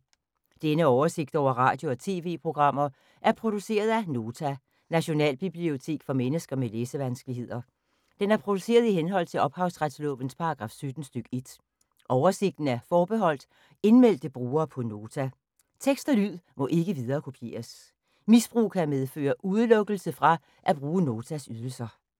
Denne oversigt over radio og TV-programmer er produceret af Nota, Nationalbibliotek for mennesker med læsevanskeligheder. Den er produceret i henhold til ophavsretslovens paragraf 17 stk. 1. Oversigten er forbeholdt indmeldte brugere på Nota. Tekst og lyd må ikke viderekopieres. Misbrug kan medføre udelukkelse fra at bruge Notas ydelser.